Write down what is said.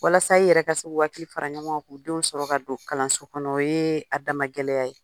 Walasa i yɛrɛ ka se u hakiliw fara ɲɔɔ ŋa k'u denw sɔrɔ ka don kalanso kɔnɔ o yee a dama gɛlɛya ye.